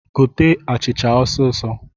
Gote achịcha osisọ!